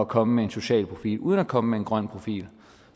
komme med en social profil uden at komme med en grøn profil